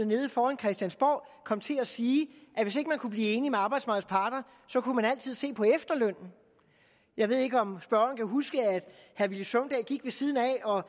nede foran christiansborg kom til at sige at hvis ikke man kunne blive enig med arbejdsmarkedets parter kunne man altid se på efterlønnen jeg ved ikke om spørgeren kan huske at herre villy søvndal gik ved siden af og